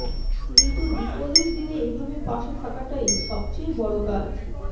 কিন্তু বিপদের দিনে এভাবে পাশে থাকাটাই সবচেয়ে বড় কাজ